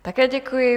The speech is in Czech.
Také děkuji.